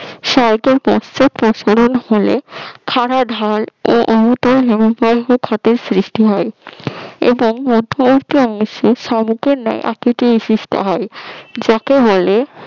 সরেটের পাঁচটা প্রসারণ হল খাড়া ঢাল ও বর্গ খাতে সৃষ্টি হয় এবং মধ্যবর্তী অংশে শামুকের ন্যায় আকৃতি বিশিষ্ট হয় যাকে বলে